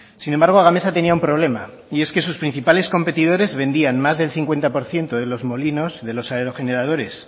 sin embargo gamesa tenía un problema y es que sus principales competidores vendían más del cincuenta por ciento de los molinos de los aerogeneradores